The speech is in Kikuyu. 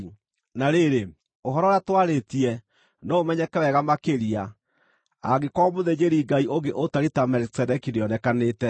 Na rĩrĩ, ũhoro ũrĩa twarĩtie no ũmenyeke wega makĩria angĩkorwo mũthĩnjĩri-Ngai ũngĩ ũtariĩ ta Melikisedeki nĩonekanĩte,